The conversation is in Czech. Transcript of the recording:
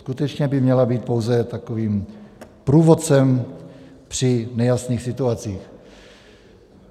Skutečně by měla být pouze takovým průvodcem při nejasných situacích.